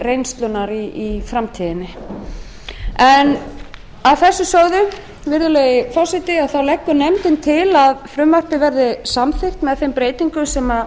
reynslunnar í framtíðinni að þessu sögðu virðulegi forseti leggur nefndin til að frumvarpið verði samþykkt með þeim breytingum sem